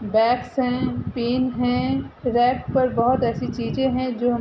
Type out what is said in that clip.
bags हैं pen हैं racks पर बहोत ऐसी चीज़ें हैं जो हमें --